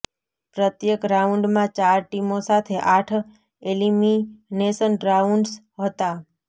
પ્રત્યેક રાઉન્ડમાં ચાર ટીમો સાથે આઠ એલિમીનેશન રાઉન્ડસ હતાં